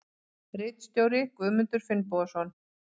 Ritstjóri Guðmundur Finnbogason.